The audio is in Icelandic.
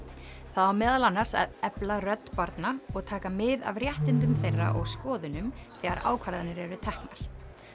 það á meðal annars að efla rödd barna og taka mið af réttindum þeirra og skoðunum þegar ákvarðanir eru teknar